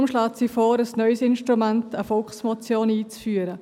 Sie schlägt deshalb vor, ein neues Instrument, eine Volksmotion, einzuführen.